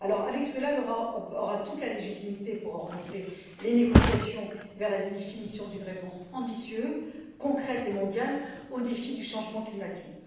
Avec cela, l'Europe aura toute la légitimité pour orienter les négociations vers la définition d'une réponse ambitieuse, concrète et mondiale, aux défis du changement climatique.